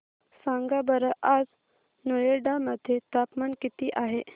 सांगा बरं आज नोएडा मध्ये तापमान किती आहे